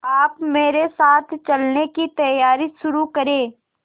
आप मेरे साथ चलने की तैयारी शुरू करें